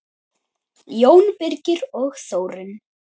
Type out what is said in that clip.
Jón Birgir og Þórunn.